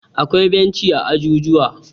akwai benci a jujuwa